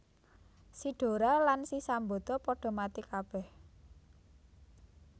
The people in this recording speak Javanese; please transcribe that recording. Si Dora lan si Sambada padha mati kabèh